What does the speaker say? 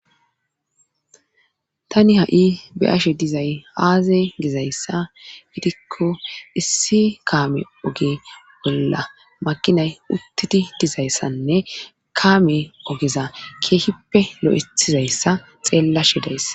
Tani ha'i be ashe dizay aaze gizayssa gidikko issi kaame oge bolla maqinay uttidi dizayssanne kaame ogeza keehippe lo'ethizayssa xeellashedayss